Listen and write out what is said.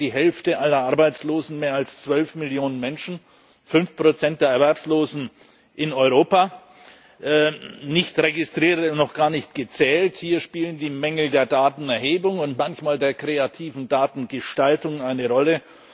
Sie stellen die Hälfte aller Arbeitslosen mehr als 12 Millionen Menschen, 5 der Erwerbslosen in Europa, nicht Registrierte noch gar nicht gezählt. Hier spielen die Mängel der Datenerhebung und manchmal die kreative Datengestaltung eine Rolle.